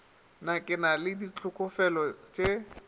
na ke na le ditlhokofele